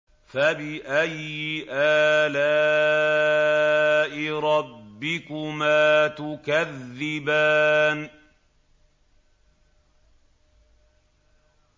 فَبِأَيِّ آلَاءِ رَبِّكُمَا تُكَذِّبَانِ